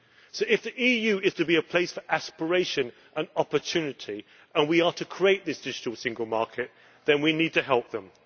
So if the EU is to be a place for aspiration and opportunity and we are to create this digital single market, then we need to help them.